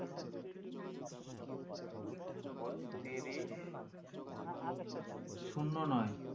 বত্রিশ শুন্য নয়